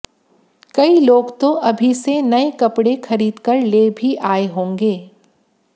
कई लोग तो अभी से नए कपड़े खरीदकर ले भी आएं होंगे